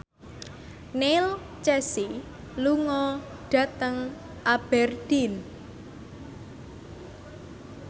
Neil Casey lunga dhateng Aberdeen